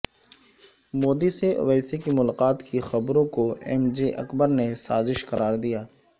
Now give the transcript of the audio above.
مودی سے اویسی کی ملاقات کی خبروں کو ایم جے اکبر نے سازش قرار دیا